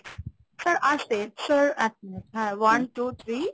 sir আসতে sir এক minute , হ্যাঁ, one, two, three,